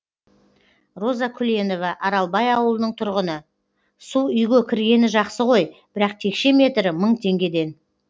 роза күленова аралбай ауылының тұрғыны су үйге кіргені жақсы ғой бірақ текше метрі мың теңгеден